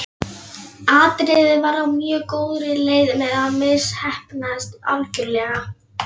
Atriðið var á mjög góðri leið með að misheppnast algjörlega.